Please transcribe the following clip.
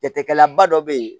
Jateminɛba dɔ bɛ yen